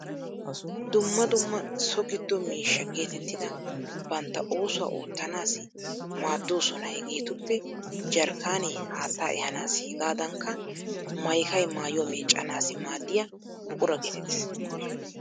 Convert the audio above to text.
Dumma dumma so giddo miishsha geetettida bantta oosuwa oottanaassi maaddoosona. Hegeetuppe jarkkaanee haattaa ehaanaassi hegaadankka maykay maayyuwaa meeccanaassi maaddiya buquraa geetettees.